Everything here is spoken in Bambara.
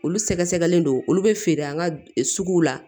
Olu sɛgɛsɛgɛlen don olu bɛ feere an ka suguw la